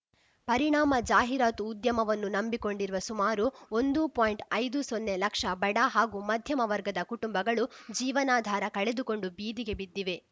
ಪರಿಣಾಮ ಜಾಹೀರಾತು ಉದ್ಯಮವನ್ನು ನಂಬಿಕೊಂಡಿರುವ ಸುಮಾರು ಒಂದು ಪಾಯಿಂಟ್ಐದು ಸೊನ್ನೆ ಲಕ್ಷ ಬಡ ಹಾಗೂ ಮಧ್ಯಮ ವರ್ಗದ ಕುಟುಂಬಗಳು ಜೀವನಾಧಾರ ಕಳೆದುಕೊಂಡು ಬೀದಿಗೆ ಬಿದ್ದಿವೆ